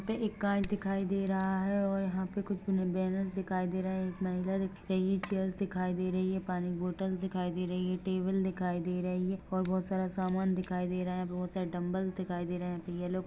यहाँ पे एक काँच दिखाई दे रहा है और यहाँ पे कुछ बैनर्स दिखाई दे रहे है एक महिला दिख रही है चेयर्स दिखाई दे रही है पानी बोतल दिखाई दे रही है टेबल दिखाई दे रही है और बहुत सारा सामान दिखाई दे रहा है बहुत सारे डम्बलस दिखाई दे रहे है येलो --